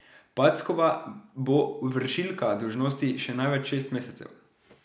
Packova bo vršilka dolžnosti še največ šest mesecev.